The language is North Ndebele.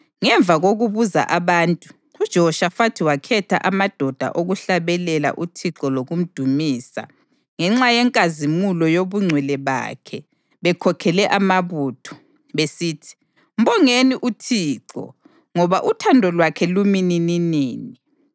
Ngemva kokubuza abantu, uJehoshafathi wakhetha amadoda okuhlabelela uThixo lokumdumisa ngenxa yenkazimulo yobungcwele bakhe bekhokhele amabutho, besithi: “Mbongeni uThixo, ngoba uthando lwakhe lumi nininini.”